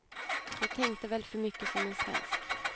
Jag tänkte väl för mycket som en svensk.